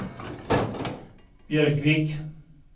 Björkvik